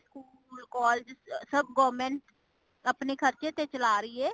school ,collage ,ਸੱਬ government ਅਪਣੇ ਖਰਚੇ ਤੇ ਚਲਾ ਰਹੀ ਹੇ